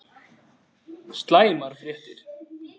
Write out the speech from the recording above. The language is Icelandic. SLÆMAR FRÉTTIR